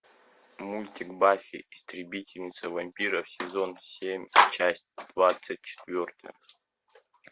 мультик баффи истребительница вампиров сезон семь часть двадцать четвертая